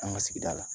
An ka sigida la